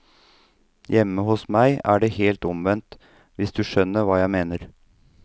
Hjemme hos meg er det helt omvendt, hvis du skjønner hva jeg mener.